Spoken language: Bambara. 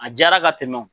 A diyara ka tɛmɛ